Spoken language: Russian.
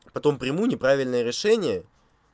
потом приму неправильное решение